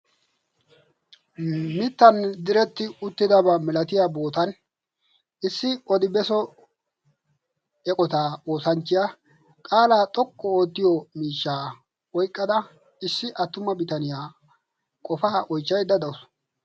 mittan diretti uttidaba milatiya bootan issi odibeso eqotaa oosanchchiyaa qaalaa xoqqu oottiyo miishshaa oyqqada issi attuma bitaniyaa qofaa oichchaydda dawusu.